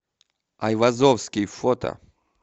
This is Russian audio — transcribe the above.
айвазовский фото